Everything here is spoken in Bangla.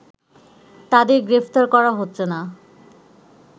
তাদের গ্রেফতার করা হচ্ছে না